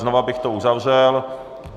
Znova bych to uzavřel.